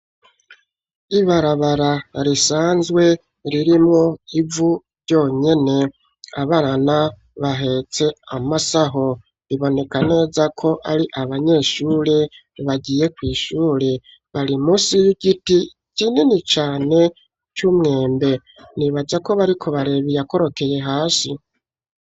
Ibarabara risanzwe ririmwo ivu ryonyene, abana bahetse amasaho biboneka neza ko ari abanyeshure bagiye kw'ishure, bari munsi y'igiti kinini cane c'umwembe. Nibaza ko bariko baraba iyakorokeye hasi.